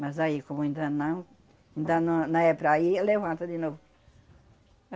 Mas aí, como ainda não, ainda não, não é para ir, alevanta de novo.